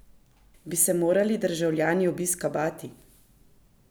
Bi se morali državljani obiska bati?